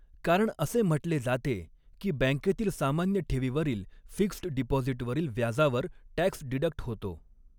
कारण असे म्हटले जाते की बॅँकेतील सामान्य ठेवीवरील फिक्स्ड डिपॉजिटवरील व्याजावर टॅक्स डिडक्ट होतो.